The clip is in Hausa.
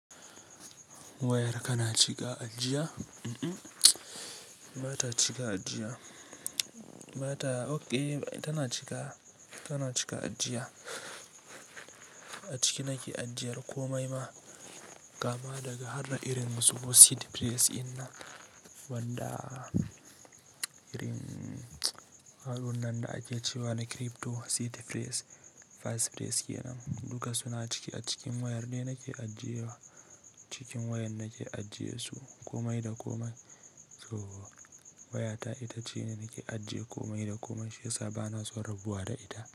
Wayar kana cika ajiya? Mm-mm, ba ta cika ajiya. Ba ta, ok, tana cika, tana cika ajiya. Aciki nake ajiyan komai ma kama daga harda irin su seed filas wanda irin allunan da ake cewa na crypto seed phrase, phrase key nan, duka suna cike a cikin wayar ne nake ajiyewa. Cikin wayar nake ajiyesu komai da komai. To wayata ita ce nake ajiye komai da komai shi yasa bana son rabuwa da ita.